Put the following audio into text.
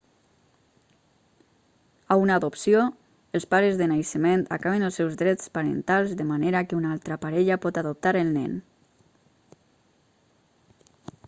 a una adopció els pares de naixement acaben els seus drets parentals de manera que una altra parella pot adoptar el nen